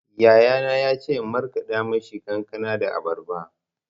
Yayana ya ce in markaɗa mishi kankana da abarba.